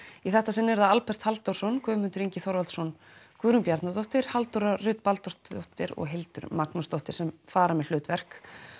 í þetta sinn eru það Albert Halldórsson Guðmundur Ingi Þorvaldsson Guðrún Bjarnadóttir Halldóra Rut Baldursdóttir og Hildur Magnúsdóttir sem fara með hlutverk